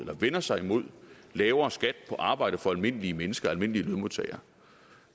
man vender sig imod lavere skat på arbejde for almindelige mennesker almindelige lønmodtagere